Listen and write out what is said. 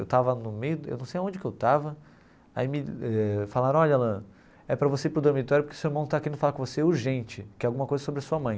Eu estava no meio, eu não sei aonde que eu estava, aí me eh falaram, olha Alan, é para você ir para o dormitório porque o seu irmão está querendo falar com você urgente, que é alguma coisa sobre a sua mãe.